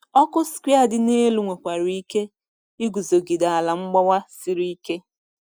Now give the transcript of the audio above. Ọkụ sequoia dị elu nwekwara ike iguzogide ala mgbawa siri ike.